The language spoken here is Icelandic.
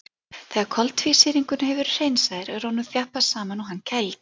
Þegar koltvísýringurinn hefur verið hreinsaður er honum þjappað saman og hann kældur.